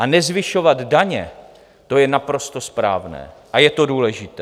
A nezvyšovat daně, to je naprosto správné a je to důležité.